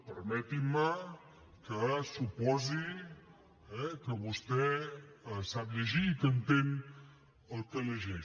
permetin me que suposi que vostè sap llegir i que entén el que llegeix